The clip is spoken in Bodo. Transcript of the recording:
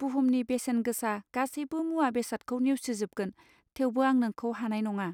बुहुमनि बेसेन गोसा गासैबो मुवा बेसादखौ नेवसिजोबगोन, थेवबो आं नोंखौ हानाय नङा